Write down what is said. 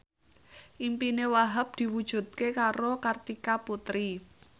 impine Wahhab diwujudke karo Kartika Putri